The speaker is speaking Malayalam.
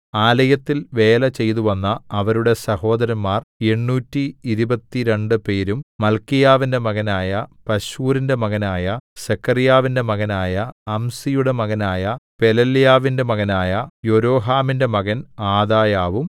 ആലയത്തിൽ വേല ചെയ്തുവന്ന അവരുടെ സഹോദരന്മാർ എണ്ണൂറ്റി ഇരുപത്തിരണ്ട് പേരും മല്ക്കീയാവിന്റെ മകനായ പശ്ഹൂരിന്റെ മകനായ സെഖര്യാവിന്റെ മകനായ അംസിയുടെ മകനായ പെലല്യാവിന്റെ മകനായ യൊരോഹാമിന്റെ മകൻ ആദായാവും